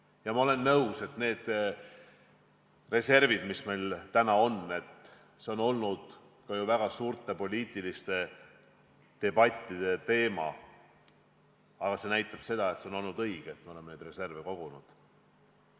Ja ma olen nõus, et need reservid, mis meil täna on ja mis on olnud väga suurte poliitiliste debattide teemaks – näeme, et oleme teinud õigesti, et oleme neid reserve kogunud.